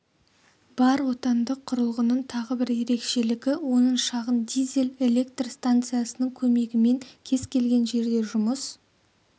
бар отандық құрылғының тағы бір ерекшелігі оның шағын дизель электр станциясының көмегімен кез-келген жерде жұмыс